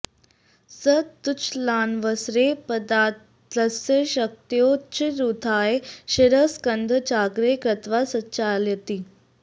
स तूच्छलनावसरे पादतलस्य शक्त्योच्चैरुत्थाय शिरः स्कन्धं चाग्रे कृत्वा सञ्चालयति